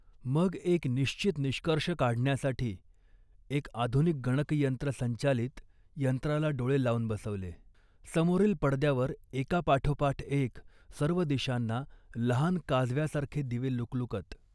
मग एक निश्चित निष्कर्ष काढण्यासाठी एक आधुनिक गणकयंत्रसंचालित यंत्राला डोळे लावून बसवले. समोरील पडद्यावर एकापाठोपाठ एक सर्व दिशांना लहान काजव्यासारखे दिवे लुकलुकत